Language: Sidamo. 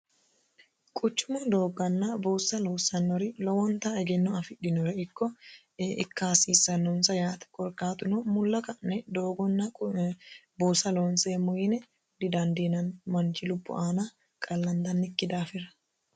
quchumu doogganna buussa loossannori lowonta egenno afidhinora ikko ikka hasiissannonsa yaate korkaatuno mulla ka'ne doogonna buusa loonseemo yine didandiinanni manchi lubbo aana qallandannikki daafira